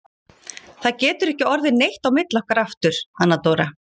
Það getur ekki orðið neitt á milli okkar aftur, Anna Dóra.